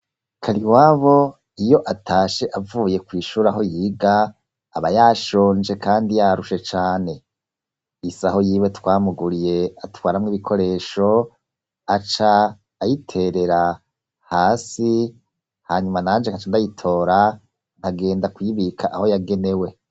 Kariwabo, iyo atashe, avuye kw'ishure, aho yiga, aba yashonje, kandi yarushe cane; isaho yiwe twamuguriye, atwaramwo ibikoresho, aca ayiterera hasi; hanyuma nanje, nkaca ndayitora, nkagenda kuyibika, aho yagenewe.